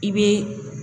I bɛ